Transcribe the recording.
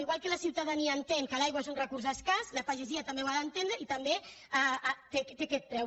igual que la ciutadania entén que l’aigua és un recurs escàs la pagesia també ho ha d’entendre i també té aquest preu